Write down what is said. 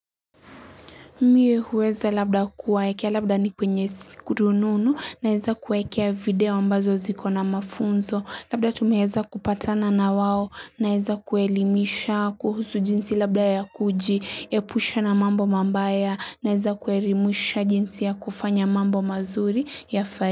Mie huweza labda kuwaekea labda ni kwenye rununu, naeza kuwaekea video ambazo ziko na mafunzo, labda tumeeza kupatana na wao, naeza kuwaelimisha kuhusu jinsi labda ya kujiepusha na mambo mambaya, naeza kuelimisha jinsi ya kufanya mambo mazuri ya fa.